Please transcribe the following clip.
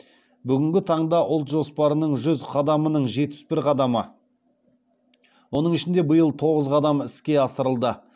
бүгінгі таңда ұлт жоспарының жүз қадамының жетпіс бір қадамы оның ішінде биыл тоғыз қадамы іске асырылды